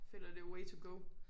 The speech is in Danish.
Føler det er way to go